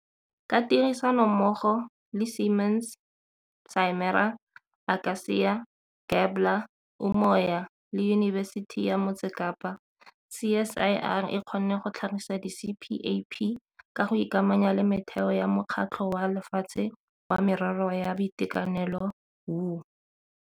Ka tirisanommogo le Siemens, Simera, Aka-cia, Gabler, Umoya le Yunibesiti ya Motse Kapa, CSIR e kgonne go tlhagisa di-CPAP ka go ikamanya le metheo ya Mokgatlho wa Lefatshe wa Merero ya Boitekanelo WHO.